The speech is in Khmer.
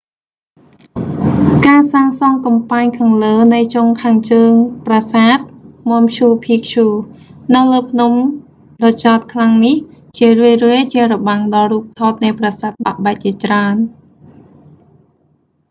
ការសាងសង់កំពែងខាងលើនៃចុងខាងជើងប្រសាទ ម៉ាំឈូ ភីកឈូ machu picchu នៅលើភ្នំដ៏ចោទខ្លាំងនេះ ជារឿយៗជារបាំងដល់រូបថតនៃប្រសាទបាក់បែកជាច្រើន